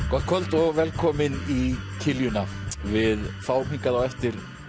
gott kvöld og velkomin í kiljuna við fáum hingað á eftir